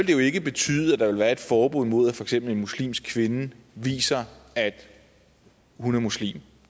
jo ikke betyde at der ville være et forbud mod at for eksempel en muslimsk kvinde viser at hun er muslim